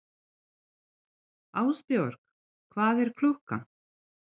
Ástbjörg, hvað er klukkan?